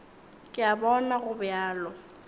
ke a bona go bjalo